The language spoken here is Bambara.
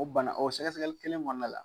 O banna o sɛgɛsɛgɛli kelen kɔnn la.